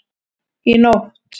Í nótt